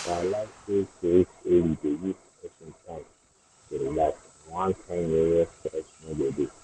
i realize sey to reach early dey give person time to relax and one kind yeye stress no go dey.